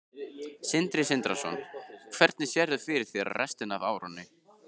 Sindri Sindrason: Hvernig sérðu fyrir þér restina af árinu?